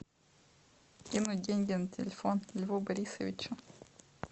кинуть деньги на телефон льву борисовичу